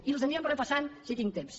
i els anirem repassant si tinc temps